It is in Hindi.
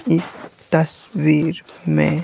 इस तस वीर में--